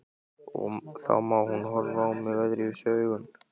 Og þá mun hún horfa á mig öðruvísi augum.